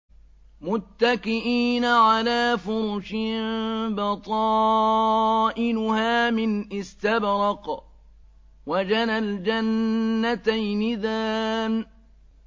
مُتَّكِئِينَ عَلَىٰ فُرُشٍ بَطَائِنُهَا مِنْ إِسْتَبْرَقٍ ۚ وَجَنَى الْجَنَّتَيْنِ دَانٍ